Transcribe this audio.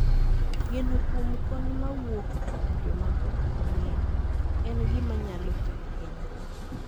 Geno kuom kony mawuok kuom joma ok wang'eyo en gima nyalo kelo hinyruok.